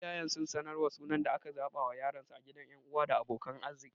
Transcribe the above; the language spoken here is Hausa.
Iyayen sun sanar da sunan da suka zaɓa wa yaronsu a gaban ƴan uwa da abokan arziki.